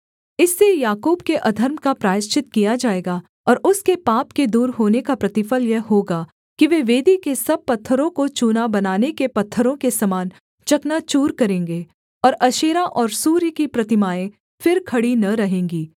इससे याकूब के अधर्म का प्रायश्चित किया जाएगा और उसके पाप के दूर होने का प्रतिफल यह होगा कि वे वेदी के सब पत्थरों को चूना बनाने के पत्थरों के समान चकनाचूर करेंगे और अशेरा और सूर्य की प्रतिमाएँ फिर खड़ी न रहेंगी